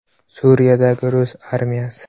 Suriyadagi rus armiyasi.